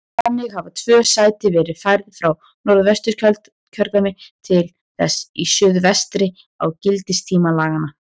Þannig hafa tvö sæti verið færð frá Norðvesturkjördæmi til þess í suðvestri á gildistíma laganna.